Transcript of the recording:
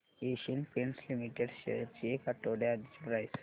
Asian Paints Limited shares ची एक आठवड्या आधीची प्राइस